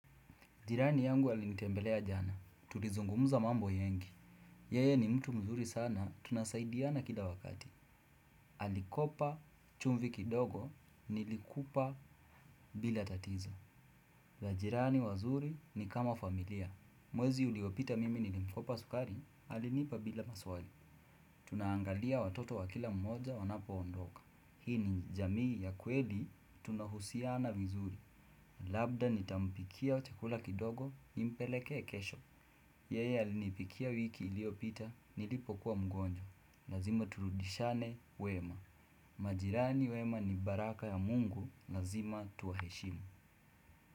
Jirani yangu alinitembelea jana. Tuli zungumuza mambo yengi. Yeye ni mtu mzuri sana, tunasaidiana kila wakati. Alikopa chumvi kidogo, nilikupa bila tatizo. Majirani wazuri ni kama familia. Mwezi uliopita mimi nilimkopa sukari, alinipa bila maswali. Tunaangalia watoto wa kila mmoja wanapo ondoka. Hii ni jamii ya kweli, tunahusiana vizuri. Labda nitampikia chakula kidogo, nimpelekea kesho. Yeye alinipikia wiki ilio pita nilipo kuwa mgonjwa. Lazima turudishane wema. Majirani wema ni baraka ya mungu. Lazima tuwa heshimu.